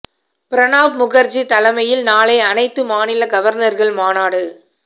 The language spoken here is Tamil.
பிரணாப் முகர்ஜி தலைமையில் நாளை அனைத்து மாநில கவர்னர்கள் மாநாடு